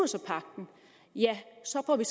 sig pagten ja så får vi